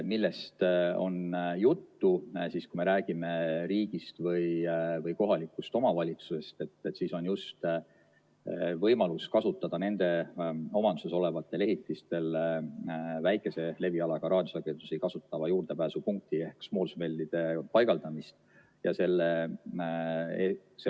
Millest on juttu siis, kui me räägime riigist või kohalikust omavalitsusest, siis talumise kohustuse tõttu on võimalus paigaldada nende omanduses olevatel ehitistel väikese levialaga raadiosagedusi kasutavaid juurdepääsupunkte ehk small cell'e.